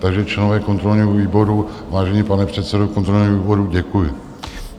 Takže členové kontrolního výboru, vážený pane předsedo kontrolního výboru, děkuju.